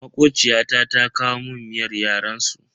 Makociyata ta kawo mun miyar yaren su.